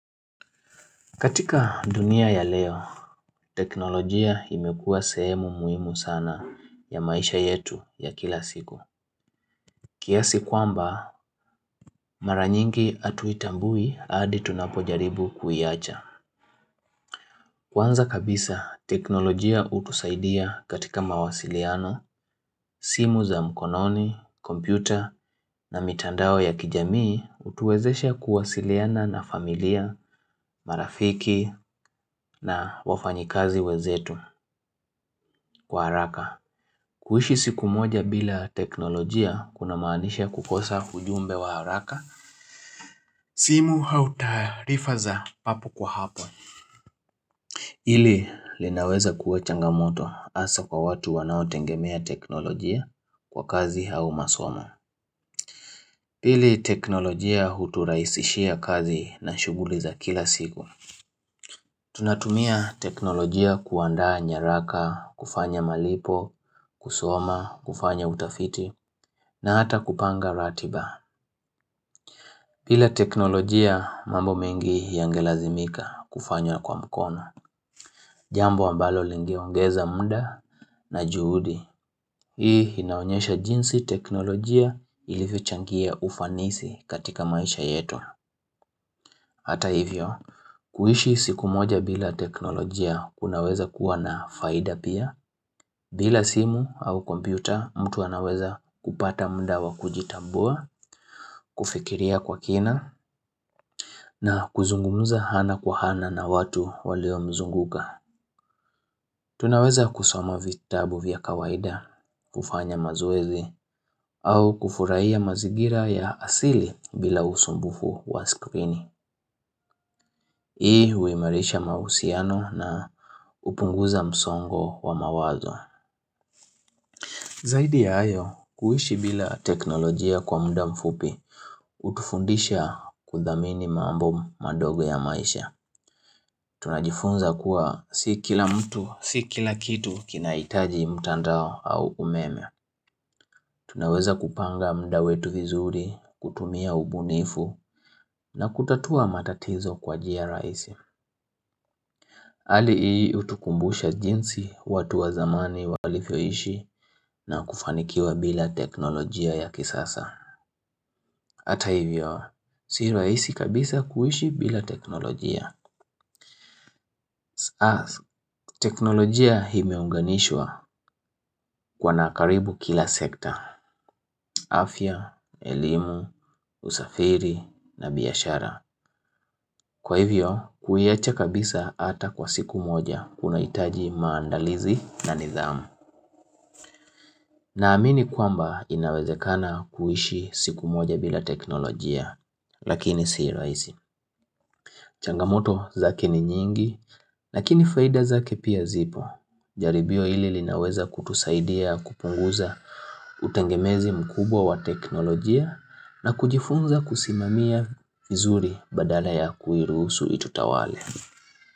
Katika dunia ya leo, teknolojia imekua sehemu muhimu sana ya maisha yetu ya kila siku. Kiasi kwamba, mara nyingi hatuitambui hadi tunapojaribu kuiacha. Kwanza kabisa, teknolojia hutusaidia katika mawasiliano, simu za mkononi, kompyuta na mitandao ya kijamii hutuwezesha kuwasiliana na familia, marafiki na wafanyikazi wenzetu kwa haraka. Kuishi siku moja bila teknolojia kuna maanisha kukosa ujumbe wa haraka simu au taarifa za papo kwa hapo. Hili linaweza kuwa changamoto hasa kwa watu wanaotegemea teknolojia kwa kazi au masomo. Ili teknolojia huturahisishia kazi na shughuli za kila siku Tunatumia teknolojia kuandaa nyaraka, kufanya malipo, kusoma, kufanya utafiti, na hata kupanga ratiba bila teknolojia mambo mengi yangelazimika kufanya kwa mkono Jambo ambalo lingeongeza muda na juhudi. Hii inaonyesha jinsi teknolojia ilivyochangia ufanisi katika maisha yetu Hata hivyo, kuishi siku moja bila teknolojia kunaweza kuwa na faida pia bila simu au kompyuta mtu anaweza kupata muda wa kujitambua kufikiria kwa kina na kuzungumza ana kwa ana na watu waliomzunguka Tunaweza kusoma vitabu vya kawaida kufanya mazoezi au kufurahia mazingira ya asili bila usumbufu wa screen Hii huimarisha mahusiano na hupunguza msongo wa mawazo Zaidi ya hayo, kuishi bila teknolojia kwa muda mfupi hutufundisha kudhamini mambo madogo ya maisha Tunajifunza kuwa si kila mtu, si kila kitu kinahitaji mtandao au umeme Tunaweza kupanga muda wetu vizuri, kutumia ubunifu na kutatua matatizo kwa njia rahisi Hali hii hutukumbusha jinsi watu wa zamani walivyoishi na kufanikiwa bila teknolojia ya kisasa Hata hivyo, si rahisi kabisa kuishi bila teknolojia. As, teknolojia imeunganishwa kwa na karibu kila sekta, afya, elimu, usafiri na biashara. Kwa hivyo, kuiacha kabisa hata kwa siku moja kunahitaji maandalizi na nidhamu. Naamini kwamba inawezekana kuishi siku moja bila teknolojia, lakini si rahisi. Changamoto zake ni nyingi, lakini faida zake pia zipo. Jaribio hili linaweza kutusaidia kupunguza utengemezi mkubwa wa teknolojia na kujifunza kusimamia vizuri badala ya kuiruhusu itutawale.